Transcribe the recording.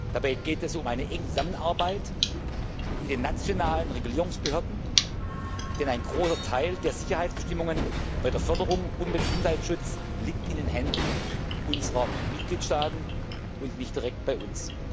Dabei geht es um eine enge Zusammenarbeit mit den nationalen Regulierungsbehörden, denn ein großer Teil der Sicherheitsbestimmungen bei der Förderung und beim Gesundheitsschutz liegt in den Händen unserer Mitgliedstaaten und nicht direkt bei uns.